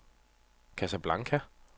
Casablanca